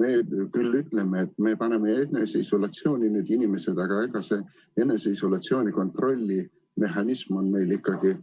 Me küll ütleme, et me paneme eneseisolatsiooni need inimesed, aga see eneseisolatsiooni kontrolli mehhanism on meil ikkagi